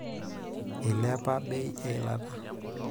Eilepa bei eilata.